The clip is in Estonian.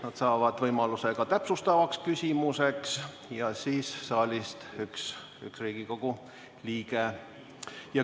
Nad saavad võimaluse ka täpsustavaks küsimuseks, samuti saalist üks Riigikogu liige.